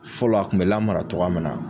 Fɔlɔ a kun bɛ lamara togoya min na